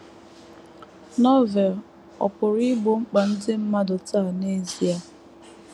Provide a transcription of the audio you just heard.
Novel ọ̀ pụrụ igbo mkpa ndị mmadụ taa n’ezie?